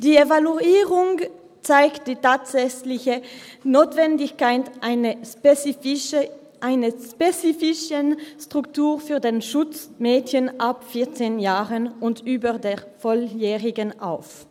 Die Evaluierung zeigt die tatsächliche Notwendigkeit einer spezifischen Struktur für den Schutz von Mädchen ab 14 Jahren und über der Volljährigkeit auf.